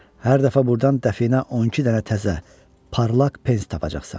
Hər dəfə burdan dəfinə 12 dənə təzə, parlaq pens tapacaqsan.